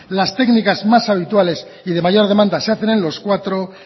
las técnicas más habituales y de mayor demanda se hacen en los cuatro